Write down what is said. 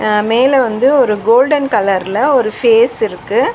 அ மேல வந்து ஒரு கோல்டன் கலர்ல ஒரு ஃபேஸ் இருக்கு.